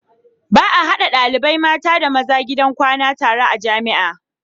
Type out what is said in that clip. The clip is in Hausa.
Ba a hadawa ɗalibai mata da maza gidan kwana tare a jamia